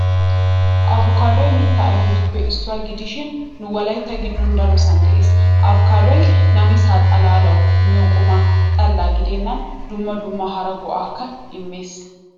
Apikaaddoy mitta ayfettuppe issuwaa gidishin nu wolaytta giddon darosan de'ees. Apikaaddoy namisa xaallawu miyo quma xalla gidennan dumma dumma hara go'aakka immes.